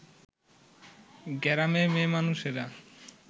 গেরামে মেয়ে মানুষেরা